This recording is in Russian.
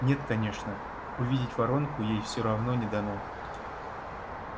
нет конечно увидеть воронку ей всё равно не дано